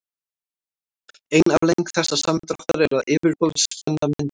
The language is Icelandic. ein afleiðing þessa samdráttar er að yfirborðsspenna myndast